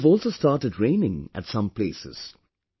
It would have also start raining at some places